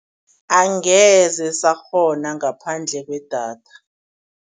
Angeze sakghona ngaphandle kwedata.